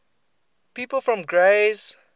people from grays